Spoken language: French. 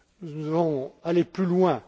Nous devons aller plus loin.